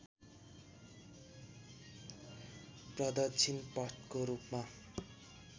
प्रदक्षिण पथको रूपमा